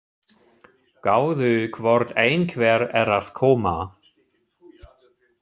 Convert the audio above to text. Gáðu hvort einhver er að koma.